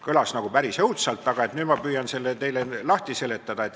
" Kõlas nagu päris õudselt, aga nüüd ma püüan selle teile lahti seletada.